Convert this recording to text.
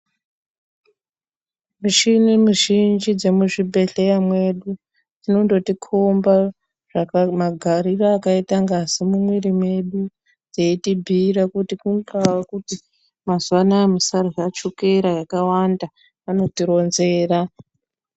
Mishini mizhinji dzemuzvibhedhleya mwedu dzinondotikhomba magariro akaita ngazi mumwiri mwedu dzeitibhuira kuti kungawa kuti mazuvanaya musarya chukera yakawanda wanotironzera.